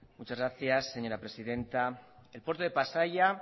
muchas gracias señora presidenta el puerto de pasaia